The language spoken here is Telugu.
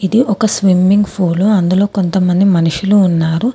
ఒక స్విమ్మింగ్ ఫూలు అందులో కొంతమంది మనుషులు ఉన్నారు.